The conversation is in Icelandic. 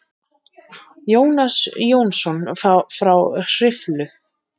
Jónas Jónsson frá Hriflu.